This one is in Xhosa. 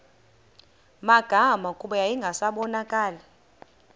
magama kuba yayingasabonakali